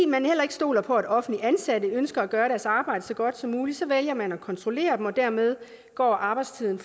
man heller ikke stoler på at offentligt ansatte ønsker at gøre deres arbejde så godt som muligt så vælger man at kontrollere dem og dermed går arbejdstiden